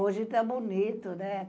Hoje está bonito, né?